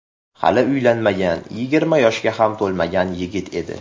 Hali uylanmagan, yigirma yoshga ham to‘lmagan yigit edi.